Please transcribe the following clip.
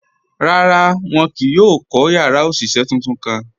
Rárá, wọn kìí yóò kọ́ yàrá oṣiṣẹ́ tuntun kàn.